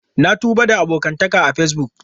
Na tuba da abokantaka a Facebook.